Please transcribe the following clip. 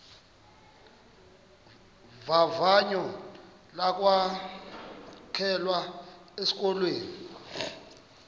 vavanyo lokwamkelwa esikolweni